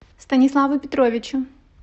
станиславу петровичу